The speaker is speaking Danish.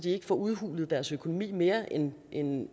ikke får udhulet deres økonomi mere end end